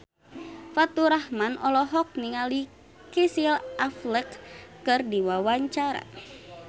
Faturrahman olohok ningali Casey Affleck keur diwawancara